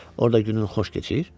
Orda günün xoş keçir?